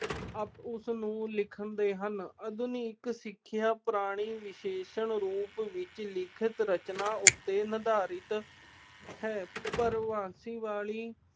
ਉਸਨੂੰ ਲਿਖਦੇ ਹਨ। ਆਧੁਨਿਕ ਸਿੱਖਿਆ ਪ੍ਰਣਾਲੀ ਵਿਸ਼ੇਸ਼ ਰੂਪ ਵਿੱਚ ਲਿਖਤ ਰਚਨਾ ਉੱਤੇ ਨਿਰਧਾਰਿਤ ਹੈ।